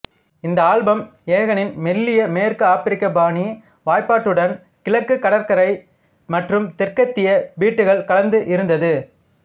இந்த ஆல்பம் எகானின் மெல்லிய மேற்குஆப்பிரிக்க பாணி வாய்ப்பாட்டுடன் கிழக்கு கடற்கரை மற்றும் தெற்கத்திய பீட்டுகள் கலந்து இருந்தது